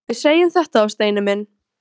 Við segjum þetta þá, Steini minn!